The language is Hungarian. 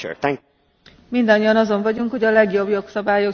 Mindannyian azon vagyunk, hogy a legjobb jogszabályok szülessenek.